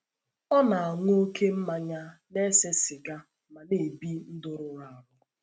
Ọ na - aṅụ oké mmanya, na - ese siga ma na - ebi ndụ rụrụ arụ.